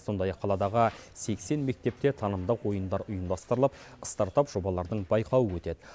сондай ақ қаладағы сексен мектепте танымдық ойындар ұйымдастырылып стартап жобалардың байқауы өтеді